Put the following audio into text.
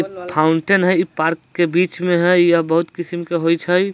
फाउन्टेन है इ पार्क के बीच में है यह बहुत किस्म के होइच है।